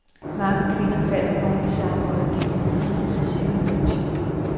Mange kvinder falder for ham i samme øjeblik, de møder ham og ser ham i aktion.